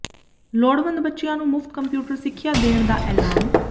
ਲੋੜਵੰਦ ਬੱਚਿਆਂ ਨੂੰ ਮੁਫ਼ਤ ਕੰਪਿਊਟਰ ਸਿੱਖਿਆ ਦੇਣ ਦਾ ਐਲਾਨ